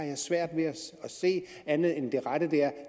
jeg svært ved at se andet end at det rette